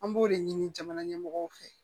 An b'o de ɲini jamana ɲɛmɔgɔw fɛ